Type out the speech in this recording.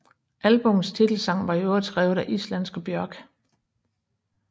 Albummets titelsang var i øvrigt skrevet af islandske Björk